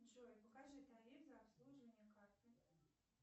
джой покажи тариф за обслуживание карты